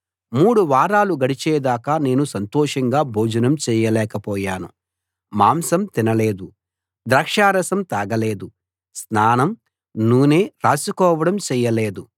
మూడు వారాలు గడిచే దాకా నేను సంతోషంగా భోజనం చేయలేకపోయాను మాంసం తినలేదు ద్రాక్షారసం తాగ లేదు స్నానం నూనె రాసుకోవడం చేయలేదు